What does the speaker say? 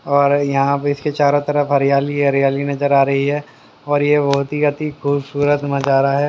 और यहां पे इसके चारों तरफ हरियाली ही हरियाली नजर आ रही है और ये बहोत ही अती खूबसूरत मजारा है।